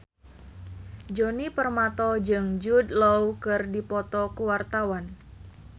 Djoni Permato jeung Jude Law keur dipoto ku wartawan